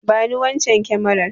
Bani wannan kyamarar.